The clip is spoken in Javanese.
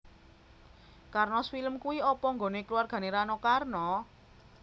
Karnos Film kui opo nggone keluargane Rano Karno?